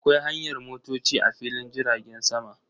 Akwai hanyar motoci a filin jiragen sama.